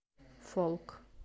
фолк